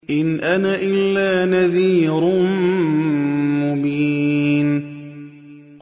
إِنْ أَنَا إِلَّا نَذِيرٌ مُّبِينٌ